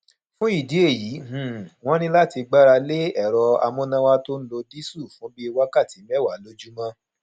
fún ìdí èyí um wọn ní láti gbára lé ẹrọ amunawa to n lo disu fún bí wákàtí méwàá lojumo